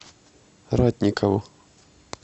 ратникову